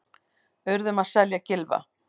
Urðum að selja Gylfa